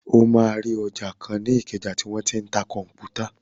O máa rí ọjà kan ní ìkẹjà tí wọ́n tí ń ta kọ̀m̀pútà.